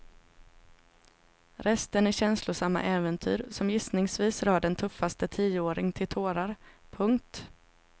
Resten är känslosamma äventyr som gissningsvis rör den tuffaste tioåring till tårar. punkt